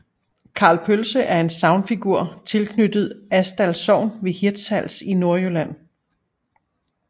Karl Pølse er en sagnfigur tilknyttet Asdal Sogn ved Hirtshals i Nordjylland